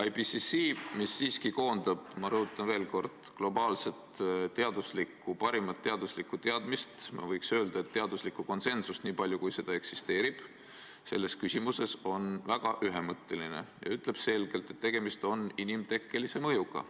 IPCC, mis siiski koondab – ma rõhutan veel kord – globaalset parimat teaduslikku teadmist, ma võiks öelda, et teaduslikku konsensust, niipalju, kui seda selles küsimuses eksisteerib, on väga ühemõtteline ja ütleb selgelt, et tegemist on inimtekkelise mõjuga.